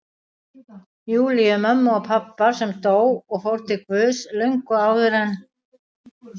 Júlíu, mömmu pabba, sem dó og fór til Guðs löngu áður en